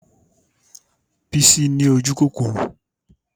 Bísí ni ojúkòkòrò